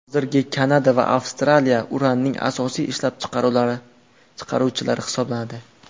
Hozirda Kanada va Avstraliya uranning asosiy ishlab chiqaruvchilari hisoblanadi.